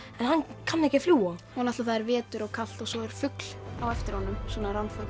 en hann kann ekki að fljúga og það er vetur og kalt og svo er fugl á eftir honum svona